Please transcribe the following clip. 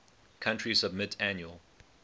country submit annual